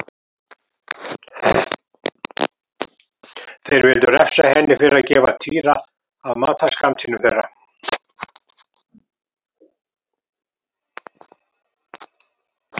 Þeir vildu refsa henni fyrir að gefa Týra af matarskammtinum þeirra.